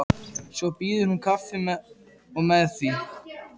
Svo býður hún kaffi og með því.